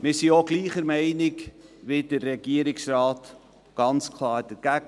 Wir sind der gleichen Meinung wie der Regierungsrat und ganz klar dagegen.